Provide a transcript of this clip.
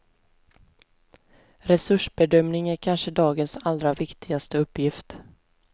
Resursbedömning är kanske dagens allra viktigaste uppgift.